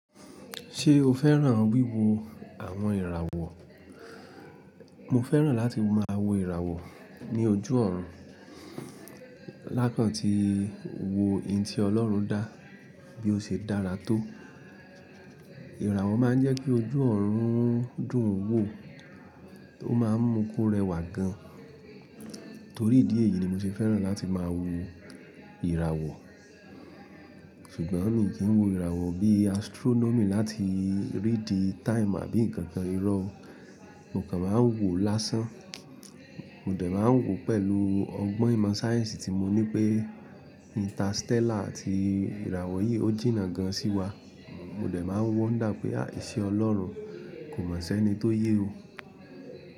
Ṣé o fẹ́ràn wíwo àwọn ìràwọ̀? Mo fẹ́ràn láti máa wo ìràwọ̀ ní ojú ọ̀run, lákàntí wo n tí Ọlọ́run dá bí ó ṣe dára to. Ìràwọ̀ máa ń jẹ́ kí ojú ọ̀run dùn wo, ó máa ń mú ko rẹwà gan. Torí ìdí èyí ni mo ṣe fẹ́ràn láti máa wo ìràwọ̀. Ṣùgbọ́n mi kì wo ìràwọ̀ bí astronomy láti rídi time àbí ǹkankan. Ìrọ̀ o mo kan máa ń wo lásán. Mo dẹ̀ máa ń wò ó pẹ̀lú ọgbọ́n ìmọ̀ sáyẹ̀nsì tí mo ní pé interstellar àti ìràwọ̀ yìí ó jìnnà gan sí wa. Mo dẹ̀ máa wonder pé àh! Ìṣẹ́ Ọlọ́run kò ma si ẹ́ni tó yé e.